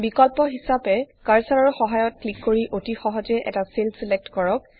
বিকল্প হিচাপে কাৰ্চাৰৰ সহায়ত ক্লিক কৰি অতি সহজে এটা চেল ছিলেক্ট কৰক